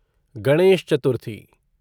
Ganesh Chaturthi